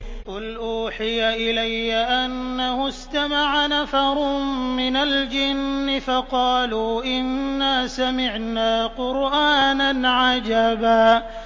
قُلْ أُوحِيَ إِلَيَّ أَنَّهُ اسْتَمَعَ نَفَرٌ مِّنَ الْجِنِّ فَقَالُوا إِنَّا سَمِعْنَا قُرْآنًا عَجَبًا